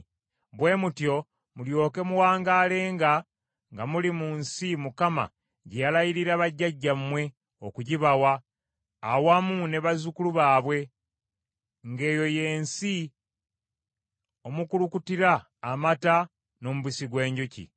bwe mutyo mulyoke muwangaalenga nga muli mu nsi Mukama gye yalayirira bajjajjammwe okugibawa awamu ne bazzukulu baabwe, ng’eyo ye nsi omukulukutira amata n’omubisi gw’enjuki.